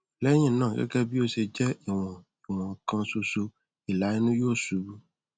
lẹyìn náà gẹgẹ bí ó ṣe jẹ ìwọn ìwọn kan ṣoṣo ìlà inú yóò ṣubú